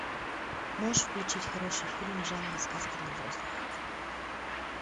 можешь включить хороший фильм жанра сказка для взрослых